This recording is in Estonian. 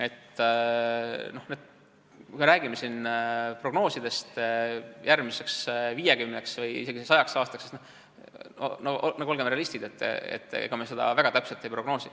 Kui me räägime prognoosidest järgmiseks viiekümneks või isegi sajaks aastaks, siis olgem realistid – ega me seda väga täpselt ei prognoosi.